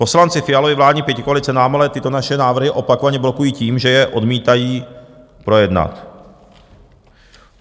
Poslanci Fialovy vládní pětikoalice nám ale tyto naše návrhy opakovaně blokují tím, že je odmítají projednat.